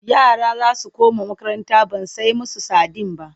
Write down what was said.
Yara za su koma makaranta ban sai musu sadin ba.-